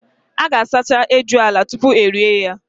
A ga- asacha ejula tupu erie ya.